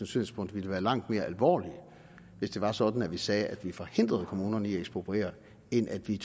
synspunkter ville være langt mere alvorlige hvis det var sådan at vi sagde at vi ville forhindre kommunerne i at ekspropriere end at vi